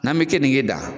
N'an bɛ kenige dan